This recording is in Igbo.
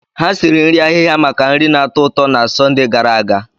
Ha siri nri ahịhịa maka nri na-atọ ụtọ na Sọnde gara aga.